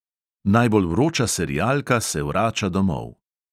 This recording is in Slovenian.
Najbolj vroča serialka se vrača domov.